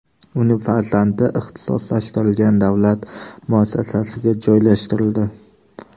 Uning farzandi ixtisoslashtirilgan davlat muassasasiga joylashtirildi.